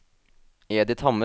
Edith Hammer